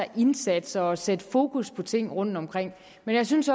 indsatser og sætte fokus på ting rundtomkring men jeg synes